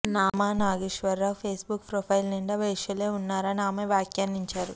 Nama Nageswara Rao Facebook profile నిండా వేశ్యలే ఉన్నారని ఆమె వ్యాఖ్యానించాచరు